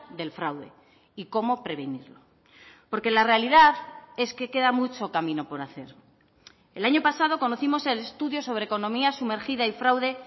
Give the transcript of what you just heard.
del fraude y cómo prevenirlo porque la realidad es que queda mucho camino por hacer el año pasado conocimos el estudio sobre economía sumergida y fraude